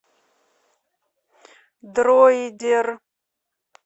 дроидер